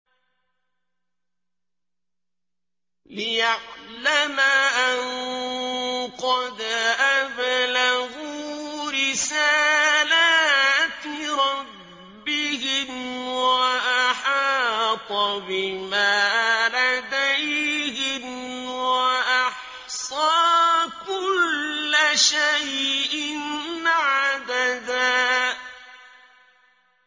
لِّيَعْلَمَ أَن قَدْ أَبْلَغُوا رِسَالَاتِ رَبِّهِمْ وَأَحَاطَ بِمَا لَدَيْهِمْ وَأَحْصَىٰ كُلَّ شَيْءٍ عَدَدًا